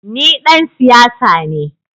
Ni dan siyasa ne